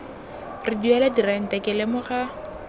re duela dirente ke lemoga